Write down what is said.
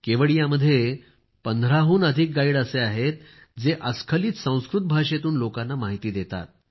केवडियामध्ये 15 हून अधिक गाईड आहेत जे अस्खलित संस्कृत भाषेतून लोकांना माहिती देतात